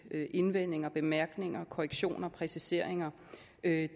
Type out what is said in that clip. indvendinger bemærkninger korrektioner og præciseringer det